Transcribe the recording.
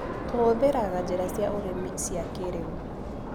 Tũhũthĩraga njĩra cia ũrĩmi cia kĩrĩũ.